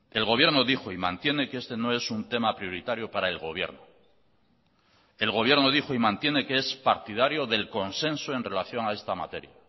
el gobierno dijo y mantiene que este no es un tema prioritario para el gobierno el gobierno dijo y mantiene que es partidario del consenso en relación a esta materia